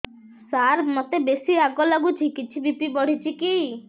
ସାର ମୋତେ ବେସି ରାଗ ଲାଗୁଚି କିଛି ବି.ପି ବଢ଼ିଚି କି